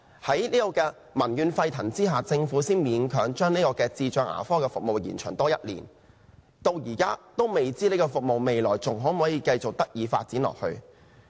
在民怨沸騰下，政府才勉強將智障人士牙科服務計劃延長1年，但至今仍未知道這項服務還可否繼續發展。